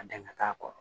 A dan ka k'a kɔrɔ